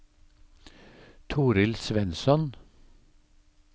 Torill Svensson